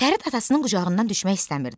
Fərid atasının qucağından düşmək istəmirdi.